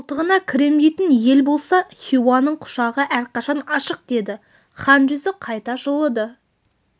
қолтығына кірем дейтін ел болса хиуаның құшағы әрқашан ашық деді хан жүзі қайта жылыды